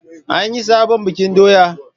An yi sabon bikin doya?